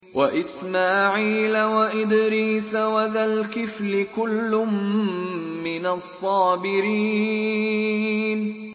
وَإِسْمَاعِيلَ وَإِدْرِيسَ وَذَا الْكِفْلِ ۖ كُلٌّ مِّنَ الصَّابِرِينَ